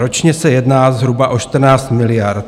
Ročně se jedná zhruba o 14 miliard.